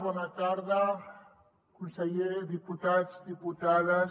bona tarda conseller diputats diputades